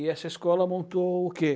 E essa escola montou o quê?